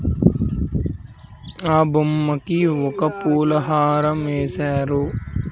ఆ బొమ్మకి ఒక పూలహారం యేసారు .